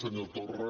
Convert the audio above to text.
senyor torra